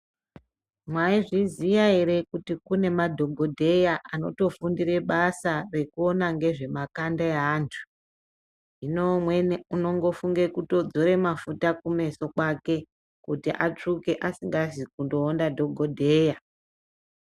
Mwaizviziya ere kuti kune madhogodheya anotofundire basa rekuona ngezvemakanda eantu. Hino umweni unongofunge kutodzore mafuta kumeso kwake kuti atsvuke asingazi kunoona dhogodheya.